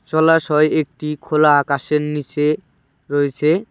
জলাশয় একটি খোলা আকাশের নীচে রয়েছে।